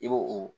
I b'o o